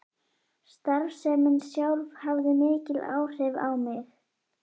Starfsemin sjálf hafði mikil áhrif á mig.